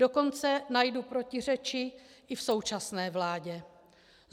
Dokonce najdu protiřeči i v současné vládě.